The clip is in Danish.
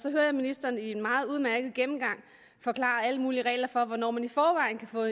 så hører jeg ministeren i en meget udmærket gennemgang forklare alle mulige regler for hvornår man i forvejen kan få